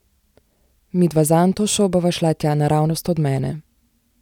Midva z Antošo bova šla tja naravnost od mene.